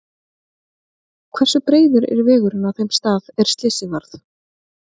Hversu breiður er vegurinn á þeim stað er slysið varð?